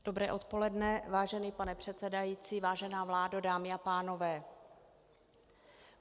Dobré odpoledne, vážený pane předsedající, vážená vládo, dámy a pánové.